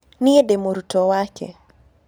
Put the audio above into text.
Niĩ ndĩ mũrutwo wake.